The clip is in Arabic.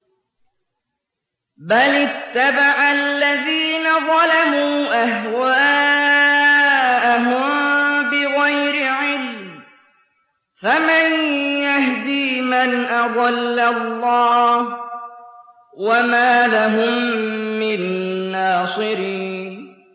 بَلِ اتَّبَعَ الَّذِينَ ظَلَمُوا أَهْوَاءَهُم بِغَيْرِ عِلْمٍ ۖ فَمَن يَهْدِي مَنْ أَضَلَّ اللَّهُ ۖ وَمَا لَهُم مِّن نَّاصِرِينَ